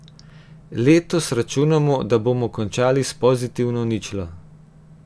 Letos računamo, da bomo končali s pozitivno ničlo.